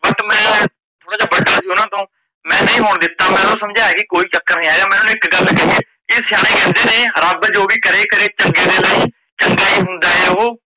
but ਮੈ ਥੋੜਾ ਜਾ ਵੱਡਾ ਸੀ ਓਹਨਾਂ ਤੋਂ ਮੈ ਨਹੀਂ ਹੋਣ ਦਿੱਤਾ ਮਈ ਸਮਝਾਇਆ ਓਨਾ ਨੂੰ ਕੀ ਕੋਈ ਚੱਕਰ ਨਹੀਂ ਹੈਗਾ ਮੈ ਓਨਾ ਨੂੰ ਇੱਕ ਗੱਲ ਕਹਿ ਕੀ ਸਿਆਣੇ ਕਹਿੰਦੇ ਨੇ ਕੀ ਰੱਬ ਜੋ ਵੀ ਕਰੇ ਕਰੇ ਚੰਗੇ ਦੇ ਲਈ ਚੰਗਾ ਹੀ ਹੁੰਦਾ ਏ ਓਹੋ,